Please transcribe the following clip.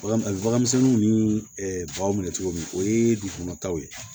Bagan misɛnninw ni baganw minɛ cogo min o ye dugu kɔnɔtaw ye